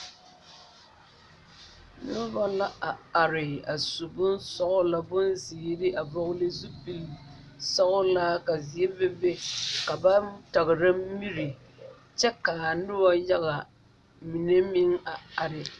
Noba la a are a su bonsɔglɔ bonzeere a vɔgle zupilisɔglaa ka zie bebe ka ba tagra miri kyɛ k,a noba yaga mine meŋ a are.